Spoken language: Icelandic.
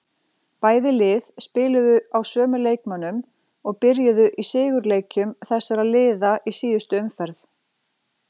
Bæði lið spiluðu á sömu leikmönnum og byrjuðu í sigurleikjum þessara liða í síðustu umferð.